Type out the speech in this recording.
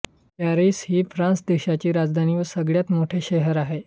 Paris ही France देशाची राजधानी व सगळ्यात मोठे शहर आहे